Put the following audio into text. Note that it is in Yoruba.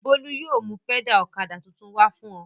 Bólú yóò mú pẹ́dà ọ̀kadà tuntun wá fún ọ.